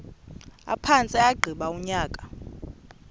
aphantse agqiba unyaka